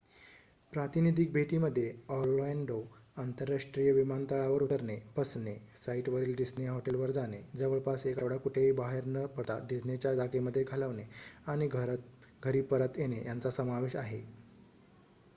"""प्रातिनिधिक" भेटीमध्ये ऑरलॅन्डो अंतरराष्ट्रीय विमानतळावर उतरणे बसने साइटवरील डिस्ने हॉटेलवर जाणे जवळपास एक आठवडा कुठेही बाहेर न पडता डिस्नेच्या जागेमध्ये घालवणे आणि घरी परत येणे यांचा समावेश आहे.